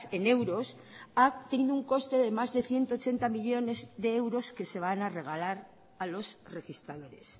en euros ha tenido un coste de más de ciento ochenta millónes de euros que se van a regalar a los registradores